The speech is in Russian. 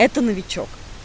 это новичок